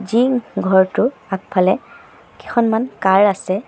Gym ঘৰটোৰ আগফালে কেইখনমান কাৰ আছে।